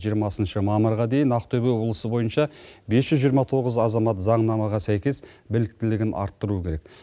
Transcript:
жиырмасыншы мамырға дейін ақтөбе облысы бойынша бес жүз жиырма тоғыз азамат заңнамаға сәйкес біліктілігін арттыруы керек